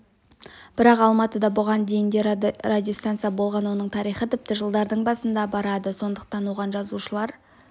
бірақ алматыда бұған дейін де радиостанция болған оның тарихы тіпті жылдардың басына барады сондықтан оған жазылушылар